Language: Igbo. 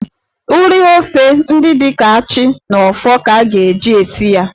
Ụrị ofe ndị dị ka achị na ọfọ ka a ga-eji esi ya.